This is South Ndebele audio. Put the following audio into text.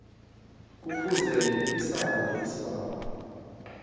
kufuze lisale isibawo